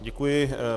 Děkuji.